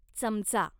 चमचा